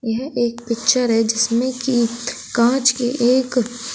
यह एक पिक्चर है जिसमें की कांच के एक--